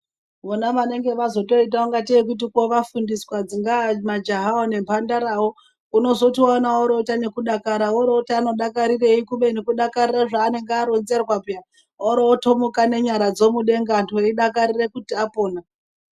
Vona vaitwa ngatei kuti vafundiswa dzingava majaha nembandara unozoona voita nekudakara worooti vanodakarirei kubeni kudakarira zvaunenge aronzerwa piya orotomuka nenyara dzobuda veidakarira kuti vapona.